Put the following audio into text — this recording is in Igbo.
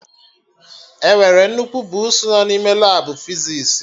Enwere nnukwu buusu nọ n'ime Labụ fizis